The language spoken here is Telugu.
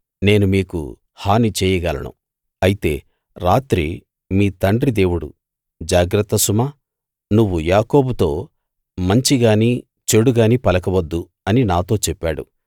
నేను మీకు హాని చేయగలను అయితే రాత్రి మీ తండ్రి దేవుడు జాగ్రత్త సుమా నువ్వు యాకోబుతో మంచి గానీ చెడు గానీ పలకవద్దు అని నాతో చెప్పాడు